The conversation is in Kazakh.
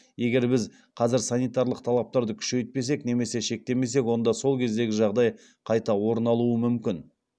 егер біз қазір санитарлық талаптарды күшейтпесек немесе шектемесек онда сол кездегі жағдай қайта орын алуы мүмкін